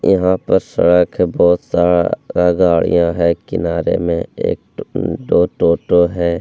यहाँ पर सड़क है बहुत सारा गाड़ियाँ है किनारे में एक दो टोटो है ।